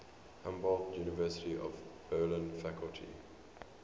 humboldt university of berlin faculty